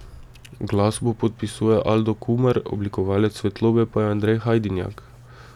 Glasbo podpisuje Aldo Kumar, oblikovalec svetlobe pa je Andrej Hajdinjak.